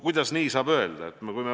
Kuidas saab nii öelda?